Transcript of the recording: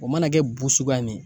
O mana kɛ bu sukuya min ye